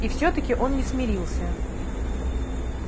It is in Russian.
и все таки он не смирился